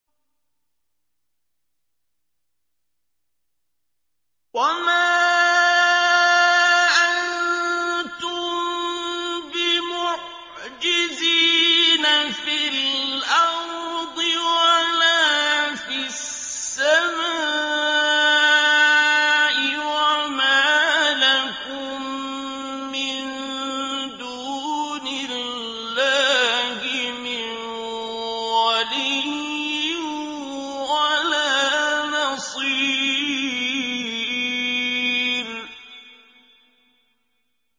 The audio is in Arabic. وَمَا أَنتُم بِمُعْجِزِينَ فِي الْأَرْضِ وَلَا فِي السَّمَاءِ ۖ وَمَا لَكُم مِّن دُونِ اللَّهِ مِن وَلِيٍّ وَلَا نَصِيرٍ